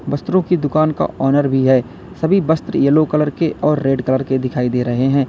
वस्त्रों कि दुकान का ऑनर भी है सभी वस्त्र येलो कलर के और रेड कलर के दिखाई दे रहे हैं।